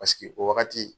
Paseke o wagati